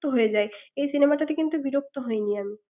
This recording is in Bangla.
বিরক্ত হয়ে যায় কিন্তু এই cinema তে বিরক্তি হয়নি আমি ৷